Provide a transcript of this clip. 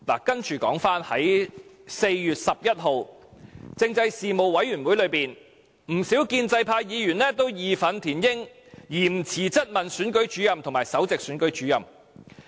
接着說回在4月11日政制事務委員會會議上，不少建制派議員也義憤填膺，嚴詞質問總選舉事務主任和首席選舉事務主任。